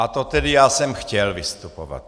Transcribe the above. A to tedy já jsem chtěl vystupovat.